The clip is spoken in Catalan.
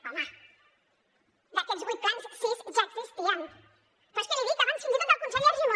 home d’aquests vuit plans sis ja existien però és que l’hi dic abans fins i tot del conseller argimon